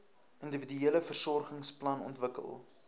individuele versorgingsplan ontwikkel